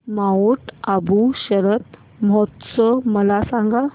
Mount Abu शरद महोत्सव मला सांग